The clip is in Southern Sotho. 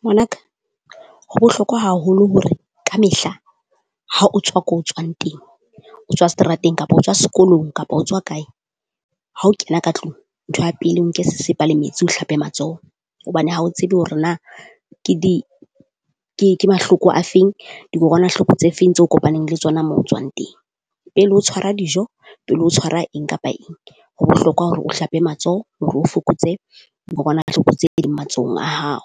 Ngwana ka ho bohlokwa haholo hore ka mehla ha o tswa ko tswang teng, o tswa seterateng kapa o tswa sekolong kapa o tswa kae ha o kena ka tlung ntho ya pele o nke sesepa le metsi o hlape matsoho. Hobane ha o tsebe hore na ke di ke ke mahloko a feng dikokwanahloko tse feng tseo kopaneng le tsona mo tswang teng. Pele o tshwara dijo pele o tshwara eng kapa eng. Ho bohlokwa hore o hlape matsoho hore o fokotse dikokwanahloko tse ding matsohong a hao,